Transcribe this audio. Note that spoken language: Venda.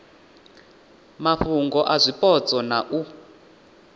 mafhungo a zwipotso na u